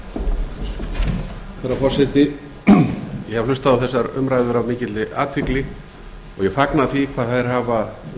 forseti ég hef hlustað á þessar umræður af mikilli athygli og ég fagna því hvað þær hafa verið